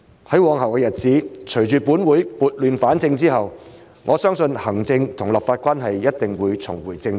在往後的日子，隨着本會撥亂反正，我相信行政與立法關係一定會重回正軌。